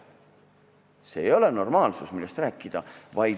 Piirangu ületamine ei ole normaalsus.